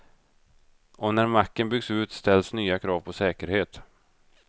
Och när macken byggs ut ställs nya krav på säkerhet.